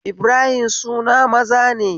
Ibrahim suna maza ne